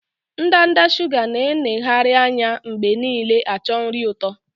Ndanda shuga na-eneghari anya mgbe niile acho nri ụtọ